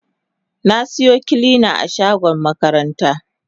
Na siyo kilina a shagon makaranta.